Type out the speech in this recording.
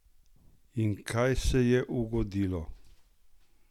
In kaj se je ugodilo?